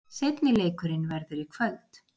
Seinni leikurinn verður í kvöld.